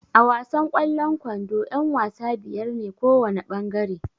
A wasan kwallon ƙwando yan-wasa biyar ne kowana ɓangare.